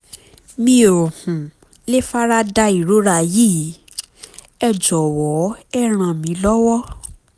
mi ò um lè fara da ìrora yìí um ẹ jọ̀wọ́ ẹ ràn mí lọ́wọ́